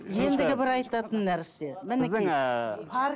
ендігі бір айтатын нәрсе